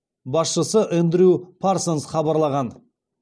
басшысы эндрю парсонс хабарлаған